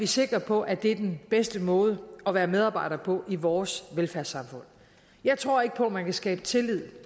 sikre på at det er den bedste måde at være medarbejder på i vores velfærdssamfund jeg tror ikke på at man kan skabe tillid